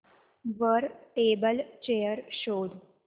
वर table chair शोध